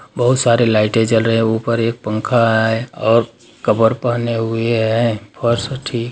बहुत सारे लाइटें जल रहे है ऊपर एक पंखा है और कपड़े पहने हुए और फर्श ठी --